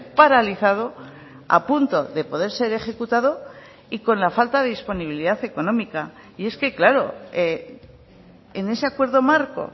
paralizado a punto de poder ser ejecutado y con la falta de disponibilidad económica y es que claro en ese acuerdo marco